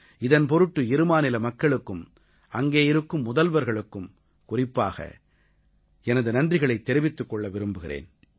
இதன் பொருட்டு இருமாநில மக்களுக்கும் அங்கே இருக்கும் முதல்வர்களுக்கும் குறிப்பாக எனது நன்றிகளைத் தெரிவித்துக் கொள்ள விரும்புகிறேன்